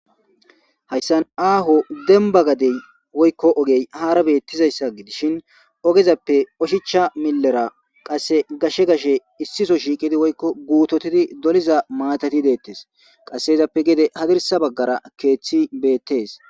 Haysan aaho demba gade woyko oge haara beetizaysa gidishin ogezape oshicha milera qase gashe gashe issiso shiiqidi woyko guutotidi doliza maatati deetes qase izape gede hadirsa bagara keethi beethes.